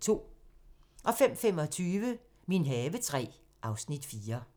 05:25: Min have III (Afs. 4)